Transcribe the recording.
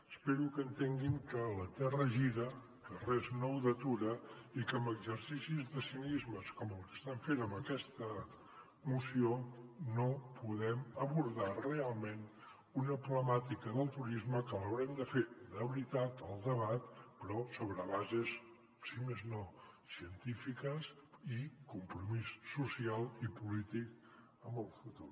espero que entenguin que la terra gira que res no ho detura i que amb exercicis de cinisme com el que estan fent amb aquesta moció no podem abordar realment una problemàtica del turisme que haurem de fer de veritat el debat però sobre bases si més no científiques i compromís social i polític amb el futur